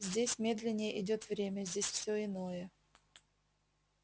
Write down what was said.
здесь медленнее идёт время здесь все иное